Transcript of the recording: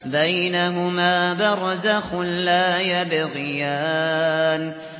بَيْنَهُمَا بَرْزَخٌ لَّا يَبْغِيَانِ